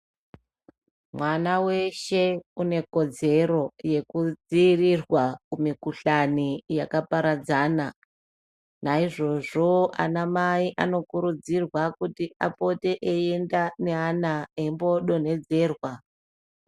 Mwana weshe unekodzero yekudzirirwa kumikuhlani yakaparadzana. Naizvozvo anamai anokurudzirwa kuti apote eiienda neana eimbodonhedzerwa.